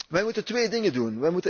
Wij moeten twee dingen doen.